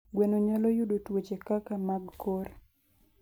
Gweno nyalo yudo tuoche kaka mag kor.